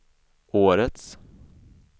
årets